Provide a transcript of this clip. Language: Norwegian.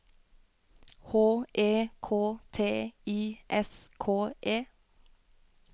H E K T I S K E